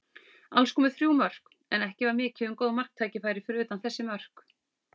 Alls komu þrjú mörk, en ekki var mikið um góð marktækifæri fyrir utan þessi mörk.